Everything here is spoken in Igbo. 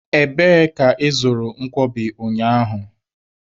Ebee ka ị zụrụ nkwobi ụnyaahụ?.